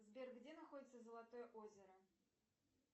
сбер где находится золотое озеро